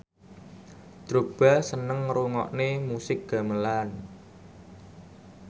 Drogba seneng ngrungokne musik gamelan